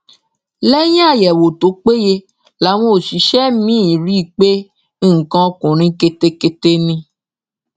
lẹyìn àyẹwò tó péye làwọn òṣìṣẹ mi rí i pé nǹkan ọkùnrin ketekete ni